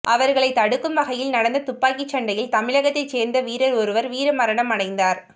அவர்களை தடுக்கும் வகையில் நடந்த துப்பாக்கி சண்டையில் தமிழகத்தைச் சேர்ந்த வீரர் ஒருவர் வீரமரணம் அடைந்தார்